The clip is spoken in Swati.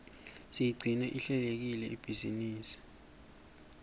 siyigcine ihlelekile ibhizinisi